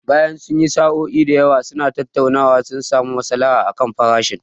Bayan sun yi sa'o'i da yawa suna tattaunawa, sun samu masalaha akan farashin.